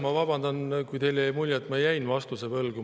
Ma vabandan, kui teile jäi mulje, et ma jäin vastuse võlgu.